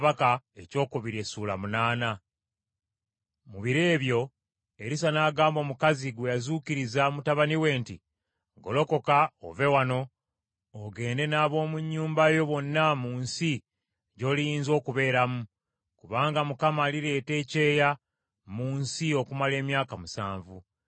Mu biro ebyo Erisa n’agamba omukazi gwe yazuukiriza mutabani we nti, “Golokoka ove wano ogende n’ab’omu nnyumba yo bonna mu nsi gy’oliyinza okubeeramu, kubanga Mukama alireeta ekyeeya mu nsi okumala emyaka musanvu.”